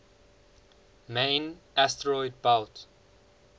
main asteroid belt